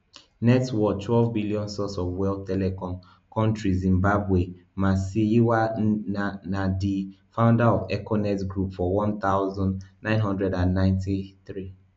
net worthtwelve billion source of wealth telecom countryzimbabwe masiyiwa na na di founder of econet group for one thousand, nine hundred and ninety-three